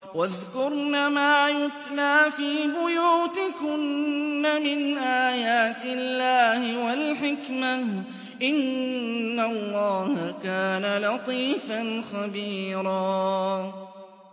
وَاذْكُرْنَ مَا يُتْلَىٰ فِي بُيُوتِكُنَّ مِنْ آيَاتِ اللَّهِ وَالْحِكْمَةِ ۚ إِنَّ اللَّهَ كَانَ لَطِيفًا خَبِيرًا